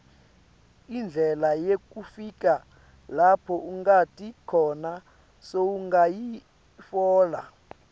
indlela yekufika lapho ungati khona sowungayitfola